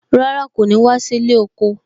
Rárá, kò ní wá sí ilé oko